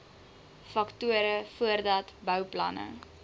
faktore voordat bouplanne